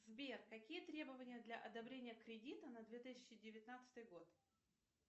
сбер какие требования для одобрения кредита на две тысячи девятнадцатый год